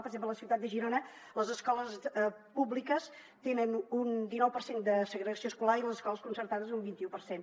per exemple a la ciutat de girona les escoles públiques tenen un dinou per cent de segregació escolar i les escoles concertades un vinti u per cent